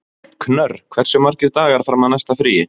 Knörr, hversu margir dagar fram að næsta fríi?